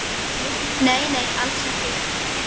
Nei, nei, alls ekki.